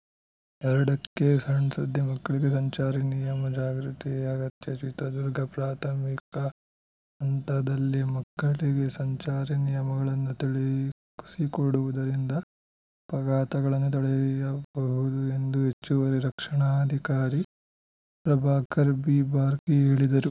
ಎರಡು ಕ್ಕೆಸಣ್‌ಸುದ್ದಿ ಮಕ್ಕಳಿಗೆ ಸಂಚಾರಿ ನಿಯಮ ಜಾಗೃತಿ ಅಗತ್ಯ ಚಿತ್ರದುರ್ಗ ಪ್ರಾಥಮಿಕ ಹಂತದಲ್ಲೇ ಮಕ್ಕಳಿಗೆ ಸಂಚಾರಿ ನಿಯಮಗಳನ್ನು ತಿಳಿಸಿಕೊಡುವುದರಿಂದ ಅಪಘಾತಗಳನ್ನು ತಡೆಯಬಹುದು ಎಂದು ಹೆಚ್ಚುವರಿ ರಕ್ಷಣಾಧಿಕಾರಿ ಪ್ರಭಾಕರ್‌ ಬಿಬಾರ್ಕಿ ಹೇಳಿದರು